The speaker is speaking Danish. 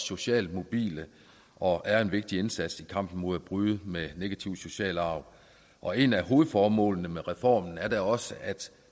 socialt mobile og er en vigtig indsats i kampen mod at bryde med negative sociale arv og en af hovedformålene med reformen er da også at